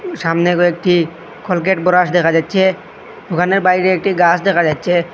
সামনে কয়েকটি Colgate brush দেখা যাচ্চে দোকানের বাইরে একটি গাস দেখা যাচ্চে ।